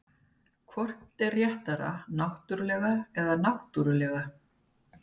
Hvort er réttara náttúrlega eða náttúrulega?